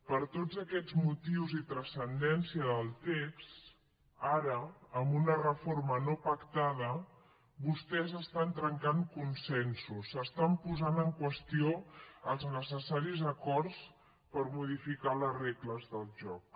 per tots aquests motius i transcendència del text ara amb una reforma no pactada vostès estan trencant consensos estan posant en qüestió els necessaris acords per modificar les regles del joc